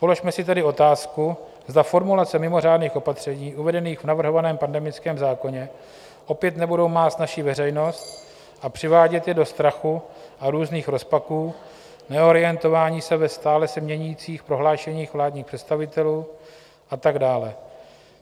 Položme si tedy otázku, zda formulace mimořádných opatření uvedených v navrhovaném pandemickém zákoně opět nebudou mást naši veřejnost a přivádět ji do strachu a různých rozpaků, neorientování se ve stále se měnících prohlášeních vládních představitelů a tak dále.